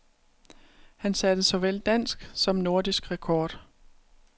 Han satte såvel dansk som nordisk rekord.